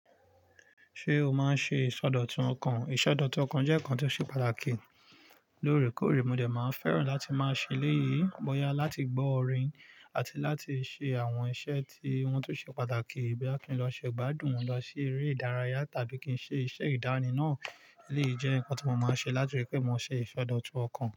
Ṣé o máa ń ṣe ìsọdọ̀tun ọkàn? Ìsọdọ̀tun ọkàn jẹ́ nǹkan tó ṣe pàtàkì lóorekọ̀ore. Mò de máa fẹ́ràn láti máa ṣèléyi bóyá láti gbọ́ orin àti láti ṣe àwọn iṣẹ́ tí wọ́n tun ṣe pàtàkì. Boya kí n lọ ṣe gbádùn, lọ sí eré ìdárayá tàbí kí n ṣe iṣẹ́ ìdániná. Eleyii je nǹkan tí mo máa ń ṣe, láti rípé mo ṣe ìsọdọ̀tun ọkàn.